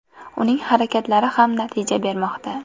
Uning harakatlari ham natija bermoqda.